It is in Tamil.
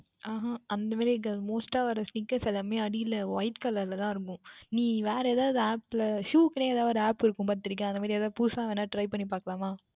அஹ் அஹ் அந்த மாதிரி இருக்காது Most டாக வேறு எல்லாமுமே அடியில் யில் White Colour தான் இருக்கும் நீ வேறு எதாவுது App யில் Shoe க்கு என்றே ஓர் App இருக்கும் பார்த்து இருக்கின்றையா அந்த மாதிரி புதிதாக வேண்டுமென்றல் Try பண்ணி பார்க்கலாமா